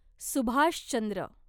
Subhash Chandra